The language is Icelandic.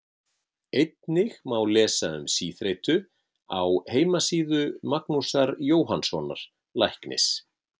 Einnig má lesa um síþreytu á heimasíðu Magnúsar Jóhannssonar læknis.